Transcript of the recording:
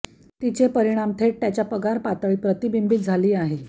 तिचे परिणाम थेट त्याच्या पगार पातळी प्रतिबिंबित झाली आहे